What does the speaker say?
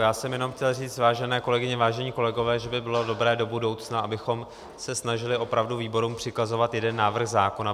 Já jsem jenom chtěl říct, vážené kolegyně, vážení kolegové, že by bylo dobré do budoucna, abychom se snažili opravdu výborům přikazovat jeden návrh zákona.